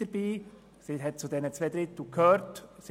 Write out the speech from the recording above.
Die glp gehörte zu den zwei Dritteln, und sie bleibt dabei: